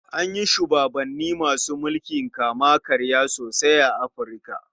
An yi shubabanni masu mulkin kama-karya sosai a Afirka.